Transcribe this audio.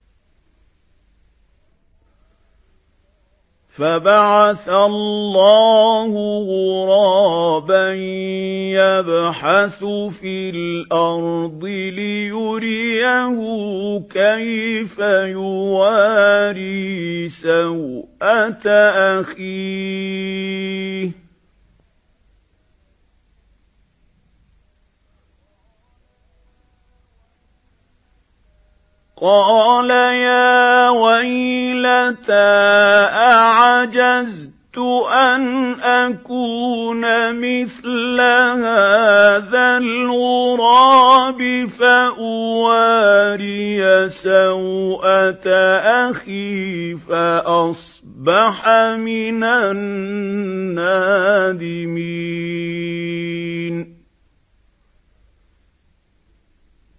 فَبَعَثَ اللَّهُ غُرَابًا يَبْحَثُ فِي الْأَرْضِ لِيُرِيَهُ كَيْفَ يُوَارِي سَوْءَةَ أَخِيهِ ۚ قَالَ يَا وَيْلَتَا أَعَجَزْتُ أَنْ أَكُونَ مِثْلَ هَٰذَا الْغُرَابِ فَأُوَارِيَ سَوْءَةَ أَخِي ۖ فَأَصْبَحَ مِنَ النَّادِمِينَ